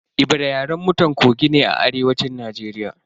Ebira Yaren mutan Kogi ne a arewacin Najeriya.